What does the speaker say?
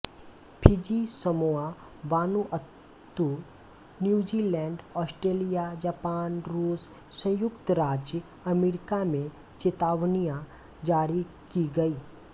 Fiji Samoa Vanuatu New Zealand Australia Japan रूस संयुक्त राज्य अमेरिका में चेतावनियां जारी की गईं